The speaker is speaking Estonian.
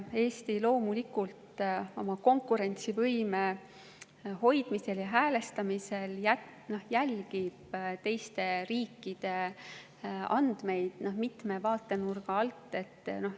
Eesti oma konkurentsivõime hoidmisel ja häälestamisel jälgib loomulikult teiste riikide andmeid mitme vaatenurga alt.